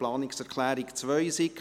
Planungserklärung 2, SiK: